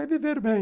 É viver bem.